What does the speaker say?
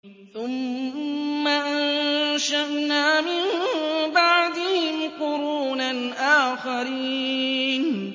ثُمَّ أَنشَأْنَا مِن بَعْدِهِمْ قُرُونًا آخَرِينَ